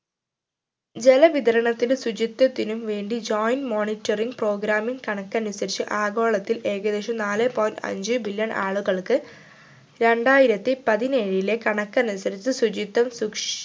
ജല വിതരണത്തിനും ശുചിത്വത്തിനും വേണ്ടി joint monitoring program ൻ്റെ കണക്കനുസരിച്ചു ആഗോളത്തിൽ ഏകദേശം നാലെ point അഞ്ച് billion ആളുകൾക്ക് രണ്ടായിരത്തി പതിനേഴിലെ കണക്കനുസരിച്ച് ശുചിത്വം സുക്ഷി